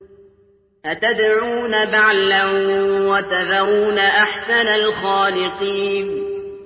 أَتَدْعُونَ بَعْلًا وَتَذَرُونَ أَحْسَنَ الْخَالِقِينَ